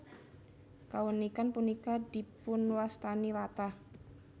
Kaunikan punika dipunwastani latah